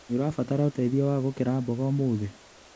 Nĩũrabatara ũteithio wa gũkera mboga ũmũthĩ?